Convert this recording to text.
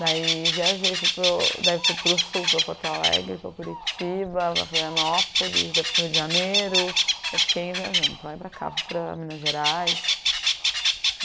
Daí viajei, fui para o, daí fui para o sul, para Porto Alegre, para Curitiba, Florianópolis, daí fui para o Rio de Janeiro, daí fiquei viajando para lá e para cá, fui para Minas Gerais.